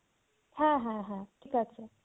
হ্যাঁ হ্যাঁ হ্যাঁ ঠিক আছে।